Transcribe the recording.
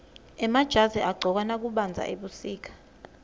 emajazi agcokwa nakubandza ebusika